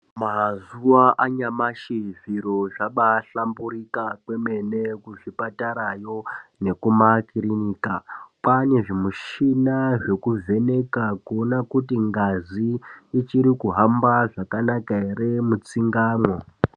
Mazuwa anyamashi zviro zvabaahlamburika kwemene kuzvipatarayo nekuma kirinika kwaane zvimushina zvekuvheneka kuona kuti ngazi ichiri kuhamba zvakanaka ere mwona mutsingamwo.